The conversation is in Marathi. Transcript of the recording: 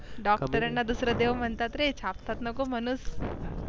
डॉक्टराना दुसर देव मनतात रे, छापतात नको मनुस